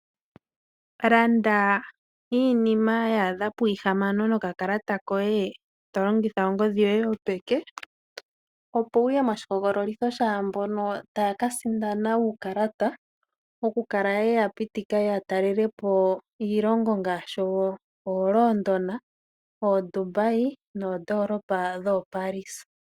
Landa iinima ya adha pwiihamano nokakalata koye tolongitha ongodhi yoye yopeke opo wu ye moshihogololitho shaamboka taya kasindana uukalata okukala ye ya pitikwa yatalele po iilongo ngaashi oLondon, oDubai noondoolopa dhoo Paris.